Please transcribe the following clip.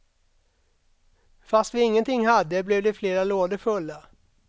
Fast vi ingenting hade, blev det flera lådor fulla.